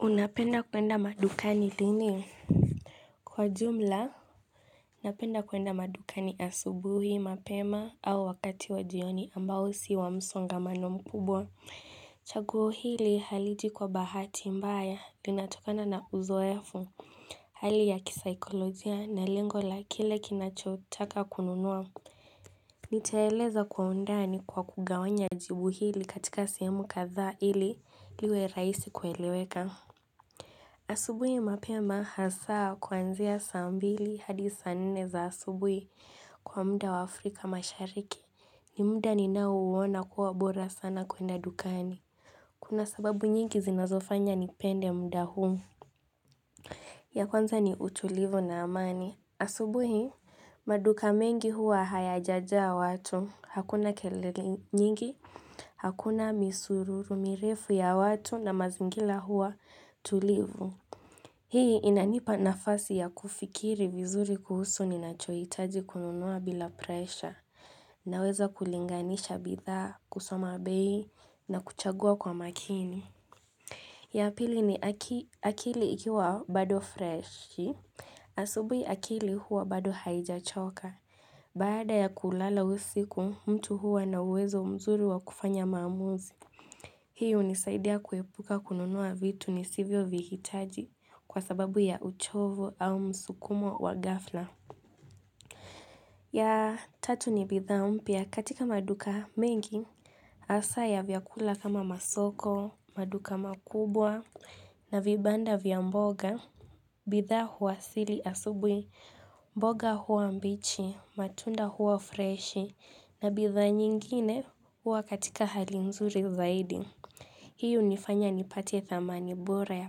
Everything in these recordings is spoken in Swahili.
Unapenda kuenda madukani lini? Kwa jumla, napenda kuenda madukani asubuhi, mapema au wakati wa jioni ambao si wa msongamano mkubwa. Chaguo hili haliji kwa bahati mbaya, linatokana na uzoefu, hali ya kisaikolojia na lengo la kile ninachotaka kununua. Nitaeleza kwa undani kwa kugawanya jibu hili katika sehemu kadhaa ili liwe rahisi kueleweka. Asubuhi mapema hasaa kwanzia saa mbili hadi saa nne za asubuhi kwa muda wa Afrika mashariki. Ni muda ninaouona kuwa bora sana kwenda dukani. Kuna sababu nyingi zinazofanya nipende muda huu. Ya kwanza ni utulivu na amani. Asubuhi maduka mengi huwa hayajajaa watu. Hakuna kelele nyingi, hakuna misururu mirefu ya watu na mazingira huwa tulivu. Hii inanipa nafasi ya kufikiri vizuri kuhusu ninachohitaji kununua bila presha, naweza kulinganisha bidhaa, kusoma bei, na kuchagua kwa makini. Ya pili ni akili ikiwa bado freshi, asubuhi akili huwa bado haijachoka. Baada ya kulala usiku, mtu huwa na uwezo mzuri wa kufanya maamuzi. Hii hunisaidia kuepuka kununua vitu nisivyo vihitaji kwa sababu ya uchovu au msukumo wa ghafla. Ya tatu ni bidhaa mpya katika maduka mengi hasaa ya vyakula kama masoko, maduka makubwa na vibanda vya mboga. Bidhaa huwasili asubuhi, mboga huwa mbichi, matunda huwa freshi na bidhaa nyingine huwa katika hali nzuri zaidi. Hii hunifanya nipate thamani bora ya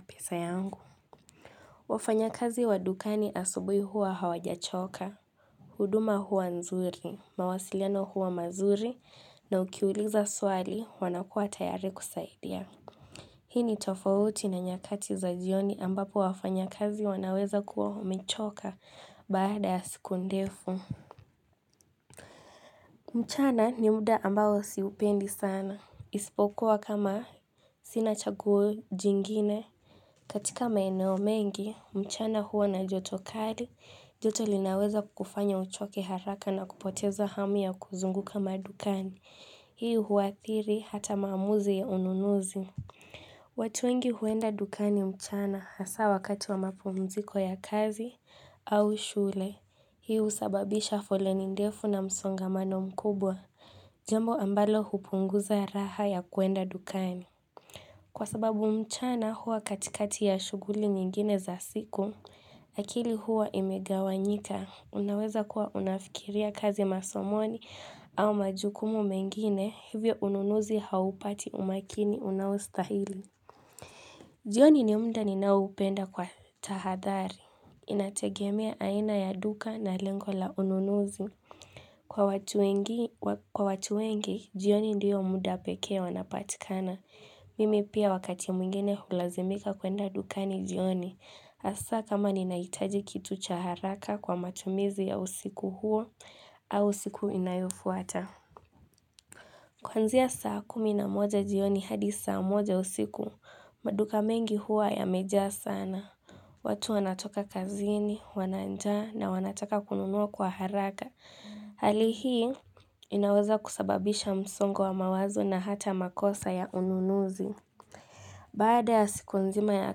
pesa yangu. Wafanya kazi wa dukani asubuhi huwa hawajachoka. Huduma huwa nzuri, mawasiliano huwa mazuri na ukiuliza swali wanakua tayari kusaidia. Hii ni tofauti na nyakati za jioni ambapo wafanya kazi wanaweza kuwa humechoka baada ya siku ndefu. Mchana ni muda ambao siupendi sana. Isipokuwa kama sina chaguo jingine. Katika maeneo mengi, mchana huwa na joto kali, joto linaweza kufanya uchoke haraka na kupoteza hamu ya kuzunguka madukani. Hii huathiri hata maamuzi ya ununuzi. Watu wengi huenda dukani mchana hasaa wakati wa mapumziko ya kazi au shule. Hii husababisha foleni ndefu na msongamano mkubwa, jambo ambalo hupunguza raha ya kuenda dukani. Kwa sababu mchana huwa katikati ya shuguli nyingine za siku, akili huwa imegawanyika. Unaweza kuwa unafikiria kazi, masomo au majukumu mengine hivyo ununuzi haupati umakini unaostahili. Jioni ni muda ninaoupenda kwa tahadhari. Inategemea aina ya duka na lengo la ununuzi. Kwa watu wengi, jioni ndiyo muda pekee wanapatikana. Mimi pia wakati mwingine hulazimika kuenda dukani jioni, hasaa kama ninahitaji kitu cha haraka kwa matumizi ya usiku huo au siku inayofuata. Kuanzia saa kumi na moja jioni hadi saa moja usiku, maduka mengi hua yamejaa sana. Watu wanatoka kazini, wana njaa na wanataka kununuwa kwa haraka. Hali hii, inaweza kusababisha msongo wa mawazo na hata makosa ya ununuzi. Baada ya siku nzima ya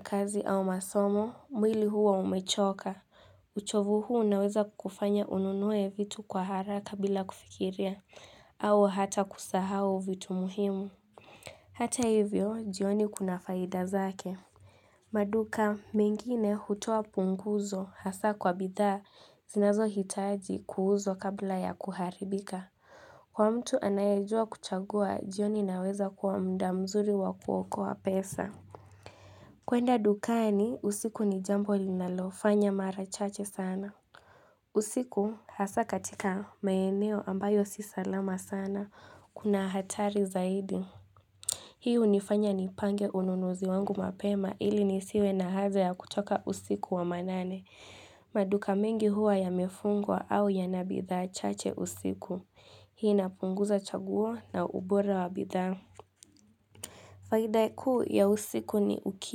kazi au masomo, mwili huwa umechoka, uchovu huu unaweza kufanya ununue vitu kwa haraka bila kufikiria, au hata kusahau vitu muhimu. Hata hivyo, jioni kuna faida zake. Maduka, mengine hutoa punguzo hasaa kwa bidhaa, zinazo hitaji kuuzwa kabla ya kuharibika. Kwa mtu anayajua kuchagua, jioni inaweza kuwa muda mzuri wa kuokoa pesa. Kuenda dukani, usiku ni jambo ninalofanya mara chache sana. Usiku hasaa katika maeneo ambayo si salama sana. Kuna hatari zaidi. Hii hunifanya nipange ununuzi wangu mapema ili nisiwe na haja ya kutoka usiku wa manane. Maduka mengi huwa yamefungwa au ya na bidhaa chache usiku. Hii inapunguza chaguo na ubora wa bidhaa. Faida kuu ya usiku ni uki.